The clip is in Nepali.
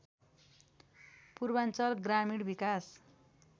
पूर्वाञ्चल ग्रामीण विकास